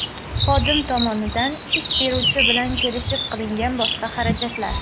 xodim tomonidan ish beruvchi bilan kelishib qilingan boshqa xarajatlar.